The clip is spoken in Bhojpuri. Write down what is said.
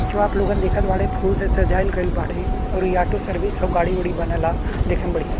जो आप लोगन देखत बाड़े फूल से सजाइल गइल बाड़े और ई आटो सर्विस ह गाड़ी उड़ी बनल ह। देखे में बढ़िया --